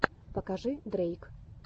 покажи дрейк